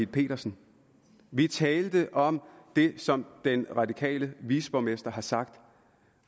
petersen vi talte om det som den radikale viceborgmester har sagt